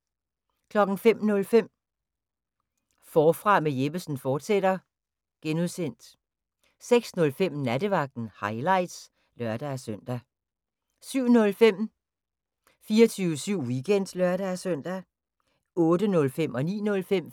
05:05: Forfra med Jeppesen fortsat (G) 06:05: Nattevagten – highlights (lør-søn) 07:05: 24syv Weekend (lør-søn) 08:05: